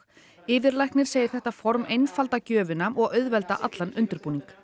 yfirlæknir segir þetta form einfalda gjöfina og auðvelda allan undirbúning